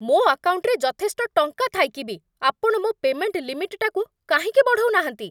ମୋ ଆକାଉଣ୍ଟରେ ଯଥେଷ୍ଟ ଟଙ୍କା ଥାଇକି ବି ଆପଣ ମୋ ପେ'ମେଣ୍ଟ ଲିମିଟ୍‌ଟାକୁ କାହିଁକି ବଢ଼ଉନାହାନ୍ତି?